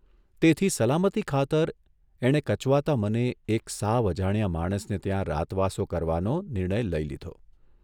તેથી સલામતી ખાતર એણે કચવાતા મને એક સાવ અજાણ્યા માણસને ત્યાં રાતવાસો કરવાનો નિર્ણય લઇ લીધો.